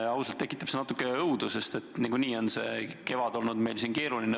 Ausalt öeldes tekitab see natuke õudu, sest niikuinii on see kevad olnud meil keeruline.